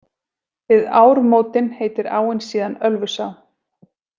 Við ármótin heitir áin síðan Ölfusá.